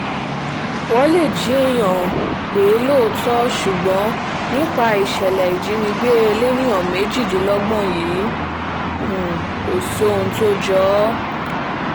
wọ́n lè jí èèyàn um gbé lóòótọ́ ṣùgbọ́n nípa ìṣẹ̀lẹ̀ ìjínigbé elèèyàn méjìdínlọ́gbọ̀n yìí um kò sí ohun tó jọ ọ́